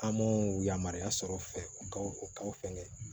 An m'o yamaruya sɔrɔ fɛ u kaw fɛngɛ